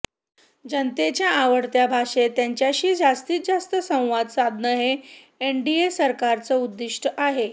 जनतेच्या आवडत्या भाषेत त्यांच्याशी जास्तीत जास्त संवाद साधणं हे एनडीए सरकारचं उद्दीष्ट आहे